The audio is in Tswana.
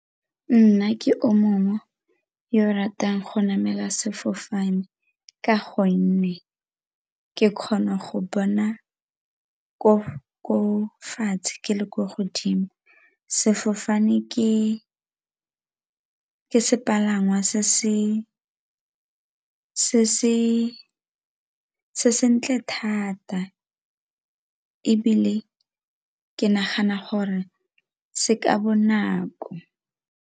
Nna ke o mongwe yo ratang go namela sefofane ka gonne ke kgona go bona ko fatshe ke le kwa godimo sefofane ke ke sepalangwa se sentle thata ebile ke nagana gore se ka bonako.